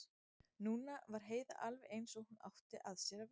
Núna var Heiða alveg eins og hún átti að sér að vera.